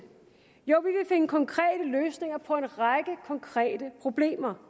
jo vi finde konkrete løsninger på en række konkrete problemer